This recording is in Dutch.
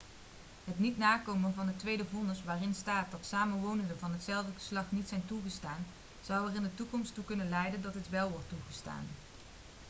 het niet nakomen van het tweede vonnis waarin staat dat samenwonenden van hetzelfde geslacht niet zijn toegestaan zou er in de toekomst toe kunnen leiden dat dit wel wordt toegestaan